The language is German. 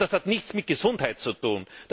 Das hat nichts mit Gesundheit zu tun.